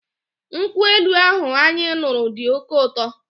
Nkwụ elu ahụ anyị ṅụrụ dị oké ụtọ.